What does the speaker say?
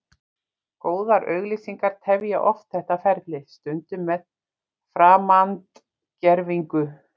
Góðar auglýsingar tefja oft þetta ferli, stundum með framandgervingu.